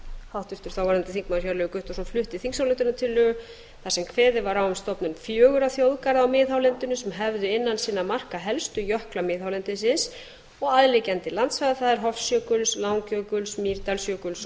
háttvirtur þáverandi þingmaður hjörleifur guttormsson flutti þingsályktunartillögu þar sem kveðið var á um stofnun fjögurra þjóðgarða á miðhálendinu sem hefði innan sinna marka helstu jökla miðhálendisins og aðliggjandi landsvæða það er hofsjökuls langjökuls mýrdalsjökuls